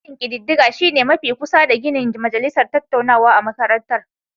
Sashen kididdiga shi ne mafi kusa da ginin majalisar dattawa a makarantar